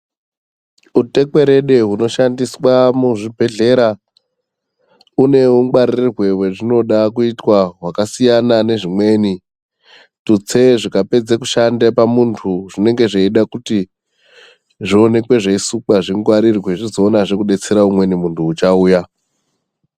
Utekwerede hunoshandiswa muzvibhedhlera une ungwarire hwazvinoda kuitwa zvakasiyana nezvimweni. Tutse zvikapedze kushande pamuntu zvinenge zveida kuti zvionekwe zveisukwa zvingarirwe zvizoonazve kubetsera umweni muntu uchauya.